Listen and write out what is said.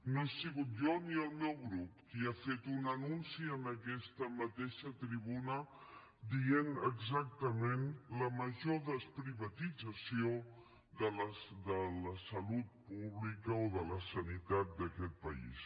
no he sigut jo ni el meu grup qui ha fet un anunci en aquesta mateixa tribuna dient exactament la major desprivatització de la salut pública o de la sanitat d’aquest país